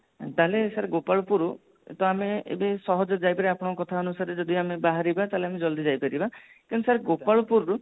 ତାହାଲେ sir ଗୋପାଳପୁରରୁ ତ ଆମେ ଏବେ ସହଜରେ ଯାଇପାରିବା ଆପଣଙ୍କ କଥା ଅନୁସାରେ ଯଦି ଆମେ ବାହାରିବା ତାହାଲେ ଆମେ ଜଲଦି ଯାଇପାରିବା କିନ୍ତୁ sir ଗୋପାଳପୁର ରୁ